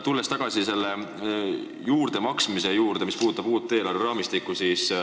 Tulen aga tagasi selle juurdemaksmise juurde seoses uue eelarveraamistikuga.